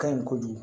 Ka ɲi kojugu